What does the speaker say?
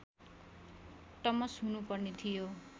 टमस हुनुपर्ने थियो